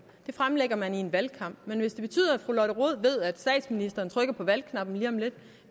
fremlægger man i en valgkamp men hvis det betyder at fru lotte rod ved at statsministeren trykker på valgknappen lige om lidt